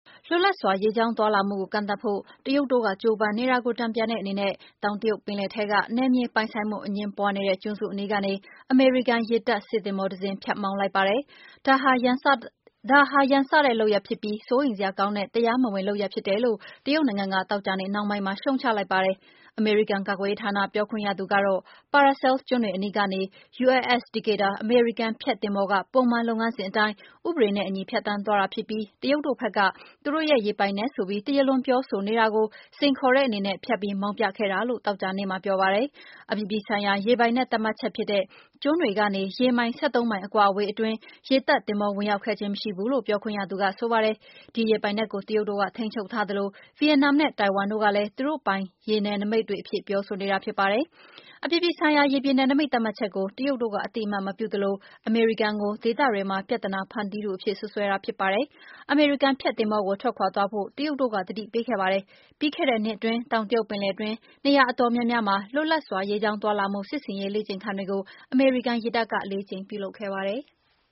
လွပ်လပ်စွာရေကြောင်းသွားလာမှုကို ကန့်သတ်ဖို့ တရုတ်တို့ကကျိုးပမ်းနေတာကို တန်ပြန်တဲ့အနေနဲ့ တောင်တရုတ်ပင်လယ်ထဲက နယ်မြေပိုင်ဆိုင်မှုအငြင်းပွါးနေတဲ့ ကျွန်းစုအနီးကနေ အမေရိကန်ရေတပ် စစ်သင်္ဘော တစင်း ဖြတ်မောင်းလိုက် ပါတယ်။ ဒါဟာ ရန်စတဲ့လုပ်ရပ်ဖြစ်ပြီး၊ စိုးရိမ်စရာကောင်းတဲ့ တရားမဝင်လုပ်ရပ်ဖြစ်တယ်လို့ တရုတ်နိုင်ငံက သောကြာနေ့ နှောင်းပိုင်းမှာ ရှုံ့ချလိုက်ပါတယ်။ အမေရိကန် ကာ ကွယ်ရေးဌာန ပြောခွင့်ရသူကတော့ Paracel ကျွန်းတွေအနီးကနေ USS Decatur အမေရိကန် ဖျက်သင်္ဘောက ပုံမှန်လုပ်ငန်းစဉ်အတိုင်း ဥပဒေနဲ့အညီ ဖြတ်သန်း သွားတာဖြစ်ပြီး တရုတ်တို့ဘက်က သူတို့ရဲ့ ရေပိုင်နက်ဆိုပြီး တရားလွန်ပြော ဆိုနေတာကို စိန်ခေါ်တဲ့ အနေနဲ့ ဖြတ်ပြီး မောင်းပြခဲ့တာလို့ သောကြာနေ့မှာပြော ပါတယ်။ အပြည်ပြည်ဆိုင်ရာရေပိုင်နက်သတ်မှတ်ချက်ဖြစ်တဲ့ ကျွန်းတွေကနေ ရေ မိုင် ၁၃ မိုင် အကွာအဝေး အတွင်းက ရေတပ်သင်္ဘော ဝင်ရောက်ခဲ့ခြင်း မရှိဘူး လို့ ပြောခွင့်ရက ဆိုပါတယ်။ ဒီရေပိုင်နက်ကို တရုတ်တို့က ထိန်းချုပ်ထားသလို ဗီယက်နမ်နဲ့ တိုင်ဝမ်တို့ကလည်း သူတို့ပိုင်ရေနယ် နိမိတ်တွေ အဖြစ်ပြောဆိုနေ တာဖြစ်ပါတယ်။ အပြည်ပြည်ဆိုင်ရာ ရေပြင်နယ်နိမိတ်သတ်မှတ်ချက်ကို တရုတ်တို့ အသိအမှတ် မပြုသလို အမေရိကန်ကို ဒေသတွင်းမှာ ပြသနာဖန်တီးသူအဖြစ် စွပ်စွဲတာဖြစ် ပါတယ်။ အမေရိကန်ဖျက်သင်္ဘောကို ထွက်ခွါသွားဖို့ တရုတ်တို့က သတိပေးခဲ့ ပါတယ်။ ပြီးခဲ့တဲ့ နှစ်အတွင်း တောင်တရုတ်ပင်လယ်တွင်း နေရာအတော်များများမှာ လွပ်လပ်စွာ ရေးကြောင်းသွားလာမှု စစ်ဆင်ရေးလေ့ကျင့်ခန်းတွေကို အမေရိကန်ရေ တပ်က လေးကြိမ် ပြုလုပ်ခဲ့ပါတယ်။